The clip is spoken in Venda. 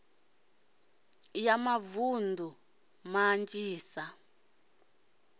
ya mavunḓu nls i ḓo